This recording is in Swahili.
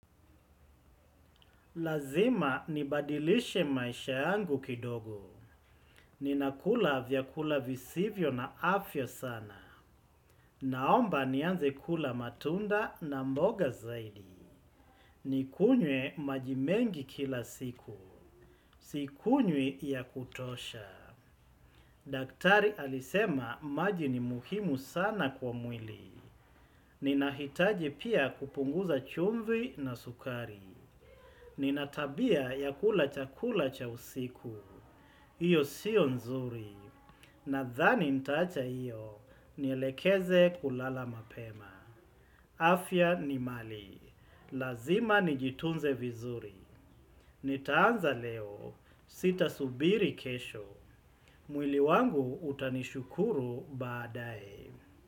Lazima nibadilishe maisha yangu kidogo. Ninakula vyakula visivyo na afya sana. Naomba nianze kula matunda na mboga zaidi. Nikunye majimengi kila siku. Sikunywi ya kutosha. Daktari alisema maji ni muhimu sana kwa mwili. Ninahitaji pia kupunguza chumvi na sukari. Nina tabia ya kula chakula cha usiku. Iyo siyo nzuri, nadhani nitaacha hiyo, nielekeze kulala mapema. Afya ni mali, lazima nijitunze vizuri. Nitaanza leo, sitasubiri kesho. Mwili wangu utanishukuru baadae.